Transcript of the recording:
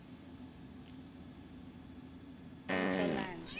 untlolanja